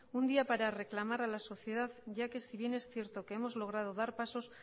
un día para reclamar a la sociedad ya que si bien es cierto que hemos logrado dar pasos